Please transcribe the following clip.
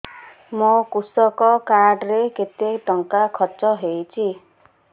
ମୋ କୃଷକ କାର୍ଡ ରେ କେତେ ଟଙ୍କା ଖର୍ଚ୍ଚ ହେଇଚି